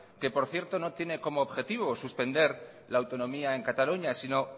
que por cierto no tiene como objetivo suspender la autonomía en cataluña sino